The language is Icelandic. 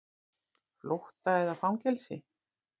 Flótta eða fangelsi.